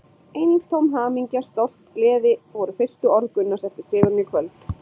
Eintóm hamingja, stolt, gleði voru fyrstu orð Gunnars eftir sigurinn í kvöld.